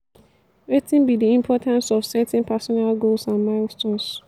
wetin be di importantce of setting personal goals and milestones?